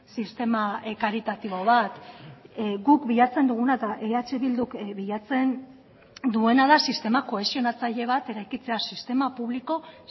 sistema karitatibo bat guk bilatzen duguna eta eh bilduk bilatzen duena da sistema kohesionatzaile bat eraikitzea sistema publiko